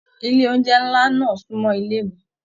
Ilé oúnjẹ nlá náà sunmọ ilé mí.